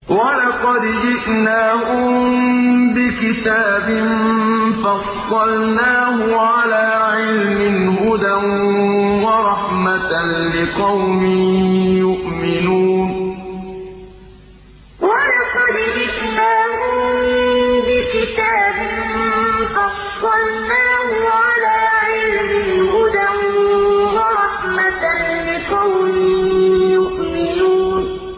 وَلَقَدْ جِئْنَاهُم بِكِتَابٍ فَصَّلْنَاهُ عَلَىٰ عِلْمٍ هُدًى وَرَحْمَةً لِّقَوْمٍ يُؤْمِنُونَ وَلَقَدْ جِئْنَاهُم بِكِتَابٍ فَصَّلْنَاهُ عَلَىٰ عِلْمٍ هُدًى وَرَحْمَةً لِّقَوْمٍ يُؤْمِنُونَ